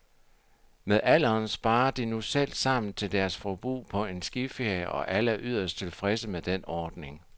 Med alderen sparer de nu selv sammen til deres forbrug på en skiferie, og alle er yderst tilfredse med den ordning.